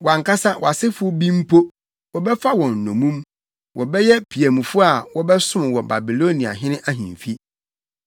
Wʼankasa wʼasefo bi mpo, wɔbɛfa wɔn nnommum. Wɔbɛyɛ piamfo a wɔbɛsom wɔ Babiloniahene ahemfi.”